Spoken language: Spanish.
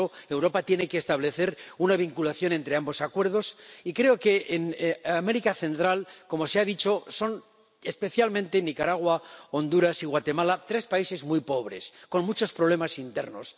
Por eso, Europa tiene que establecer una vinculación entre ambos acuerdos, y creo que en América Central ―como se ha dicho― se trata especialmente de los acuerdos con Nicaragua, Honduras y Guatemala, tres países muy pobres, con muchos problemas internos.